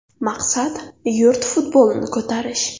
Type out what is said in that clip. Maqsad yurt futbolini ko‘tarish.